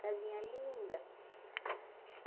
Casinha linda.